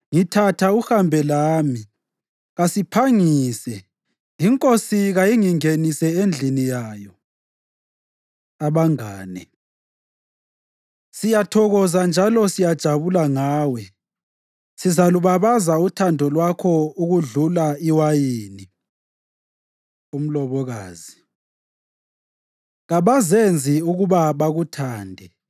Ngithatha uhambe lami, kasiphangise! Inkosi kayingingenise endlini yayo. Abangane Siyathokoza njalo siyajabula ngawe; sizalubabaza uthando lwakho okudlula iwayini. Umlobokazi Kabazenzi ukuba bakuthande!